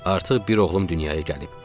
Artıq bir oğlum dünyaya gəlib.